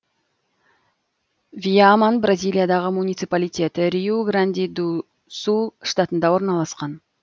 виаман бразилиядағы муниципалитет риу гранди ду сул штатында орналасқан